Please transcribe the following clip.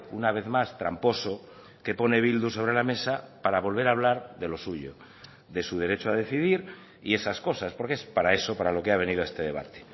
una vez más tramposo que pone bildu sobre la mesa para volver a hablar de lo suyo de su derecho a decidir y esas cosas porque es para eso para lo que ha venido a este debate